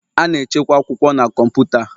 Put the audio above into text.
A na-echekwa akwụkwọ na kọmputa.